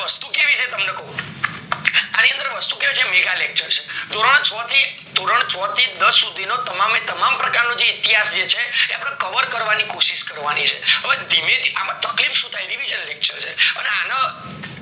અણી અંદર વસ્તુ કયો છે mega lecture છે ધોરણ છ થી ધોરણ છ થી દસ સુધી નો તમામ એ તમામ પ્રકાર નો ઈતિહાસ છે જે એ cover કરવાની કોશિશ કરવાની છે હવે ધીમે થી અમ તકલીફ શું થાય revision lecture છે અને આન